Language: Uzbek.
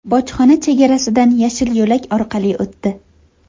bojxona chegarasidan yashil yo‘lak orqali o‘tdi.